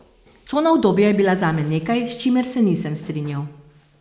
Cona udobja je bila zame nekaj, s čimer se nisem strinjal.